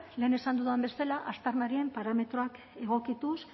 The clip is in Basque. lehen esan dudan bezala aztarnarien parametroak egokituz